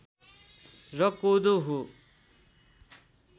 र कोदो हो